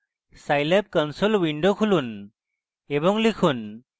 scilab console window খুলুন এবং লিখুন